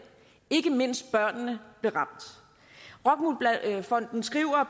ikke mindst børnene blev ramt rockwool fonden skriver